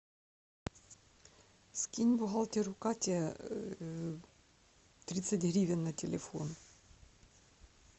скинь бухгалтеру кате тридцать гривен на телефон